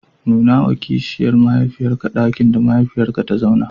Nunawa kishiyar mahaifiyarka ɗakin da mahaifiyarka ta zauna.